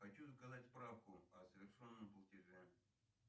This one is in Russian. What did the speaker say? хочу заказать справку о совершенном платеже